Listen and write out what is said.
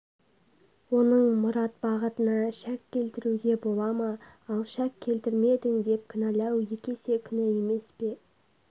оның мұрат-бағытына шәк келтіруге бола ма ал шәк келтірмедің деп кінәлау екі есе күнә емес пе